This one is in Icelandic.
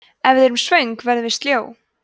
ef við erum svöng verðum við sljó